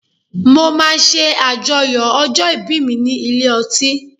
Mo máa ṣe àjọyọ̀ ọjọ́ ìbí mi ní ilé ọtí.